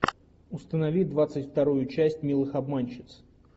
установи двадцать вторую часть милых обманщиц